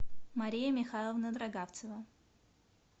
мария михайловна дрогавцева